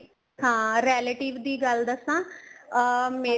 ਹਾਂ relative ਗੱਲ ਦੱਸਾ ਅਹ